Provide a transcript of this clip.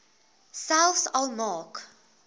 selfs al maak